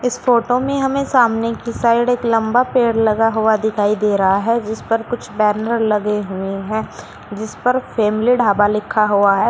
इस फोटो में हमें सामने की साइड एक लंबा पेड़ लगा हुआ दिखाई दे रहा है जिस पर कुछ बैनर लगे हुए हैं जिस पर फैमिली ढाबा लिखा हुआ है।